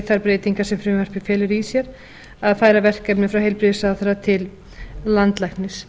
þær breytingar sem frumvarpið felur í sér að færa verkefni frá heilbrigðisráðherra til landlæknis